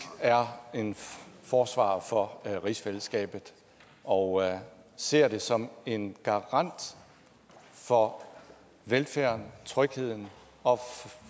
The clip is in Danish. er en forsvarer for rigsfællesskabet og ser det som en garant for velfærden og trygheden og